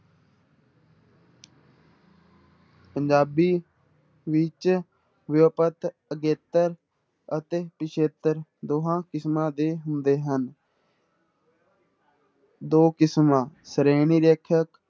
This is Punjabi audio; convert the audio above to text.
ਪੰਜਾਬੀ ਵਿੱਚ ਵਿਊਪਤ ਅਗੇਤਰ ਅਤੇ ਪਿੱਛੇਤਰ ਦੋਹਾਂ ਕਿਸਮਾਂ ਦੇ ਹੁੰਦੇ ਹਨ ਦੋ ਕਿਸਮਾਂ ਸ਼੍ਰੇਣੀ ਰੇਖਿਅਕ